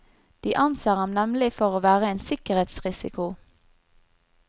De anser ham nemlig for å være en sikkerhetsrisiko.